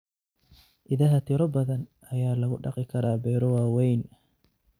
Idaha tiro badan ayaa lagu dhaqi karaa beero waaweyn.